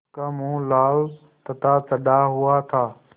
उसका मुँह लाल तथा चढ़ा हुआ था